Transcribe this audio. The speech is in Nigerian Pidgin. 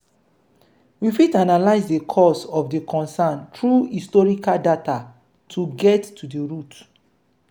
we fit analyse the cause of di concern through historical data to get to the root